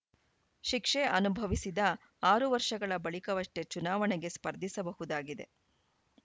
ಶಿಕ್ಷೆ ಅನುಭವಿಸಿದ ಆರು ವರ್ಷಗಳ ಬಳಿಕವಷ್ಟೇ ಚುನಾವಣೆಗೆ ಸ್ಪರ್ಧಿಸಬಹುದಾಗಿದೆ